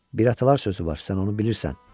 Bir atalar sözü var, sən onu bilirsən.